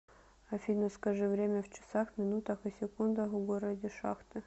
афина скажи время в часах минутах и секундах в городе шахты